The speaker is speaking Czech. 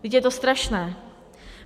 Vždyť je to strašné.